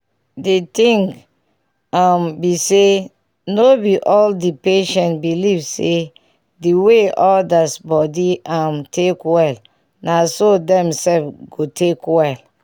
di ting um be say no be all the patients believe say the way others body um take well naso dem sef go take well